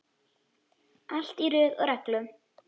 Allt í röð og reglu.